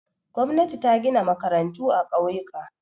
Gwamnati ta gina makarantu a ƙauyuka.